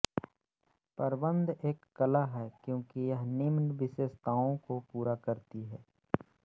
प्रबंध एक कला है क्योंकि यह निम्न विशेषताओं को पूरा करती है